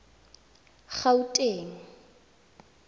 gauteng